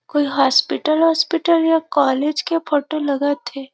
कोई हॉस्पिटल -औस्पिटल या कॉलेज के फोटो लगत हे ।